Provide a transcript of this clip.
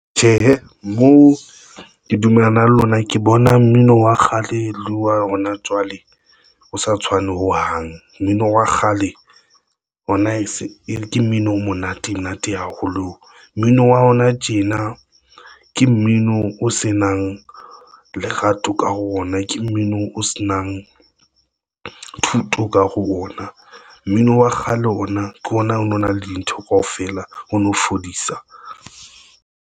Tjhe, moo ke dumellana le lona ke bona mmino wa kgale le wa hona jwale o sa tshwane hohang. Mmino wa kgale hona ke mmino o monate monate haholo. Mmino wa hona tjena ke mmino o se nang lerato ka hare ho ona, ke mmino o se nang thuto ka hare ho ona. Mmino wa kgale ona ke ona o no na le dintho kaofela o no fodisa.